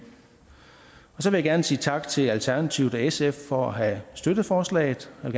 så vil jeg gerne sige tak til alternativet og sf for at have støttet forslaget jeg